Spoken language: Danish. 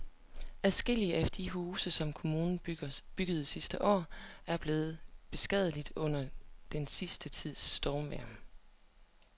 Adskillige af de huse, som kommunen byggede sidste år, er blevet beskadiget under den sidste tids stormvejr.